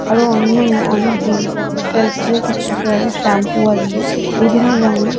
আরো অন্য অন্য অনেক জিনিস আছে সেল্ফ গুলো ছোট ছোট আরো শ্যাম্পু আছে বিভিন্ন রঙের।